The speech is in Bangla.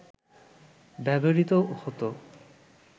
ব্যবহৃত হত